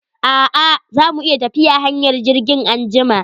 A'a, za mu iya tafiya hanyar jirgin anjima.